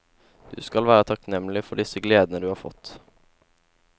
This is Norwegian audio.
Du skal være takknemlig for disse gledene du har fått.